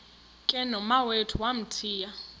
ke nomawethu wamthiya